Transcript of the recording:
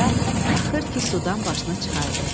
Yumruca axır ki, sudan başını çıxardı.